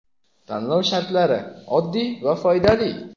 Tanlov shartlari oddiy va foydali:.